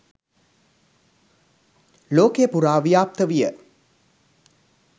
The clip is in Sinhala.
ලෝකය පුරා ව්‍යාප්ත විය.